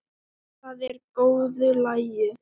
Það er í góðu lagi